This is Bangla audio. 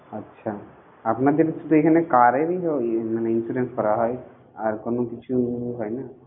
আচ্ছা আপনাদের শুধু এখানে car এরই মানে insurance করা হয় আর কিছু হয় না?